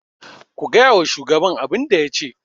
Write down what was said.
ku gaya wa shugaban abin da ya ce!